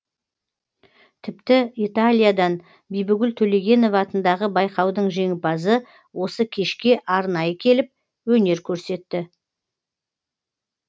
тіпті италиядан бибігүл төлегенова атындағы байқаудың жеңімпазы осы кешке арнайы келіп өнер көрсетті